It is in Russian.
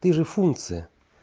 ты же функция